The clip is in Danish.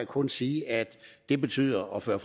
kun sige at det betyder og fører